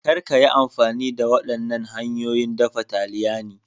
Kar ka yi amfani da waɗannan hanyoyin dafa taliyani.